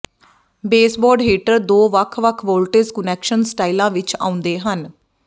baseboard heater ਦੋ ਵੱਖ ਵੱਖ ਵੋਲਟੇਜ ਕੁਨੈਕਸ਼ਨ ਸਟਾਈਲਾਂ ਵਿੱਚ ਆਉਂਦੇ ਹਨ